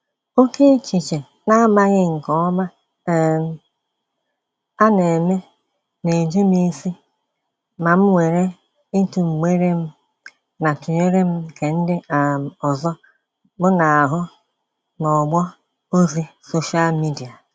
Oké echiche na amaghị nke ọma um a neme, nejum isi, ma m were ịtụ mgbere m, na tụnyerem nke ndị um ọzọ m n'ahụ n'ọgbọ ozi social media.